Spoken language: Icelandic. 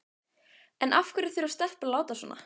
En af hverju þurfa stelpur að láta svona?